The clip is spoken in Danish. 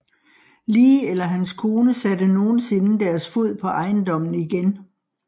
Lee eller hans kone satte nogensinde deres fod på ejendommen igen